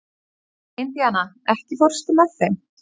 Indiana, ekki fórstu með þeim?